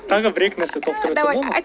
тағы бір екі нәрсе толықтырып айтсам болады ма